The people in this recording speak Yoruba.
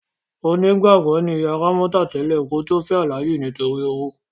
Onígbàgbọ́ ni ìyá Rámọ́tà tẹ́lẹ̀ kí ó tó fẹ́ Alhaji nítorí owó.